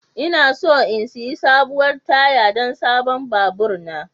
Ina so in sayi sabuwar taya don sabon babur na.